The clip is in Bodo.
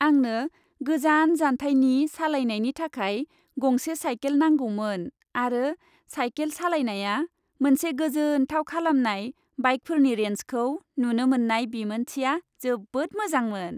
आंनो गोजान जानथायनि सालायनायनि थाखाय गंसे साइकेल नांगौमोन आरो साइकेल सालायनाया मोनसे गोजोनथाव खालामनाय बाइकफोरनि रेन्जखौ नुनो मोननाय बिमोनथिया जोबोद मोजांमोन।